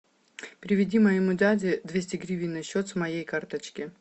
переведи моему дяде двести гривен на счет с моей карточки